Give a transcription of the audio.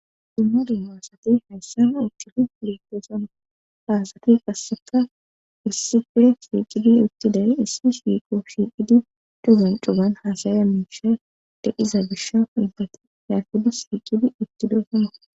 dumma dumaasati hayssana itidi liiqosona faasati qasseka issife siiqidi utti day issi siiqo shiiqidi cugan cuban haasaya miisha deqiza bisha igdati yarhudi siiqidi uttidoosama